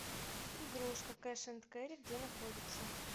игрушка кэш энд кэри где находится